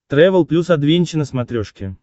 трэвел плюс адвенча на смотрешке